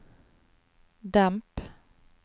demp